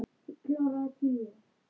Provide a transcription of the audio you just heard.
Það leit út fyrir það.